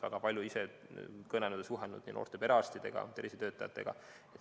Ise olen kõnelenud ja suhelnud noorte perearstidega, tervisetöötajatega.